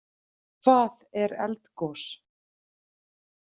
Hvað er eldgos?